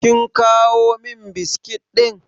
Kin kawo min biskit ɗin?